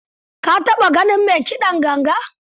Ka taɓa ganin mai kiɗan ganga?